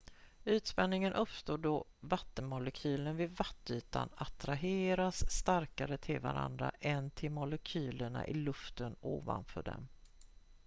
ytspänning uppstår då vattenmolekyler vid vattenytan attraheras starkare till varandra än till molekylerna i luften ovanför dem